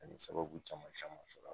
Ani sababu caman camanma sɔrɔ